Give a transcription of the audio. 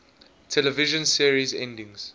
television series endings